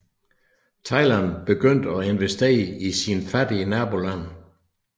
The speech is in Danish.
Thailand begyndte at investere i sine fattige nabolande